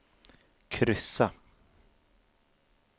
kryssa